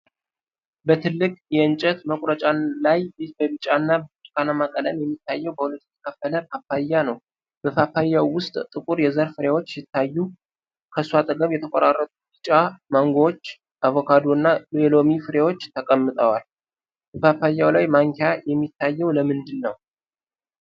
በትልቅ የእንጨት መቁረጫ ላይ በቢጫና ብርቱካንማ ቀለም የሚታየው በሁለት የተከፈለ ፓፓያ ነው። በፓፓያው ውስጥ ጥቁር የዘር ፍሬዎች ሲታዩ፣ ከሱ አጠገብ የተቆራረጡ ቢጫ ማንጎዎች፣ አቮካዶዎችና የሎሚ ፍሬዎች ተቀምጠዋል፤ በፓፓያው ላይ ማንኪያ የሚታየው ለምንድን ነው?